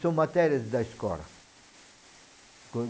São matérias da escola.